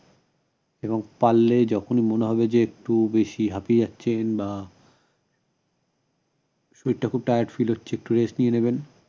এবং পারলে যখনই মনে হবে না=যে খুব বেশি হাপিয়ে যাচ্ছি বা শরীরটা খুব tired feel হচ্ছে একটু rest নিয়ে নিবেন